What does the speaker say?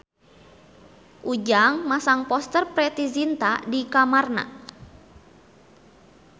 Ujang masang poster Preity Zinta di kamarna